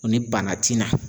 O ni bana ti na